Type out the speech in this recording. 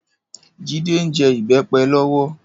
Jide n jè ibèpè lòwò